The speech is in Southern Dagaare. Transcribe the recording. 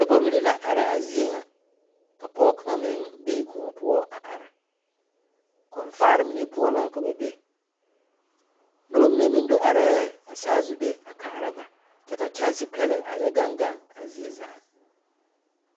Noba mine la are a zie ŋa ka pɔge kaŋa meŋ be koɔ poɔ a are kɔmfaare mine poɔ la ka ba be noba mine meŋ do arɛɛ ba saazu be a kaara ba kyɛ ka kyɛnsepɛlɛ a yɛ gaŋ gaŋ a zie zaa.